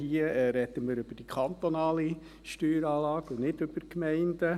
Hier sprechen wir über die kantonale Steueranlage und nicht über die Gemeinden.